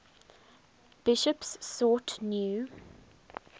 bishops sought new